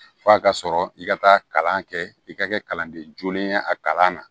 F'a ka sɔrɔ i ka taa kalan kɛ i ka kɛ kalanden jolen ye a kalan na